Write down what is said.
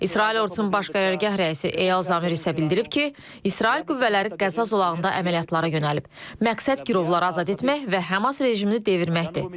İsrail ordusunun baş qərargah rəisi Eyal Zamir isə bildirib ki, İsrail qüvvələri Qəzza zolağında əməliyyatlara yönəlib, məqsəd girovları azad etmək və Həmas rejimini devirməkdir.